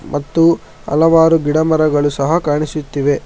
ಮತ್ತು ಹಲವಾರು ಗಿಡಮರಗಳು ಸಹ ಕಾಣಿಸುತ್ತಿವೆ.